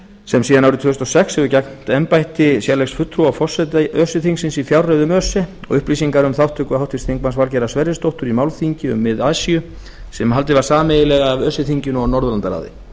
sem síðan árið tvö þúsund og sex hefur gegnt embætti sérlegs fulltrúa forseta öse þingsins í fjárreiðum öse og upplýsingar um þátttöku háttvirts þingmanns valgerðar sverrisdóttur í málþingi um mið asíu sem haldið var sameiginlega af öse þinginu og norðurlandaráði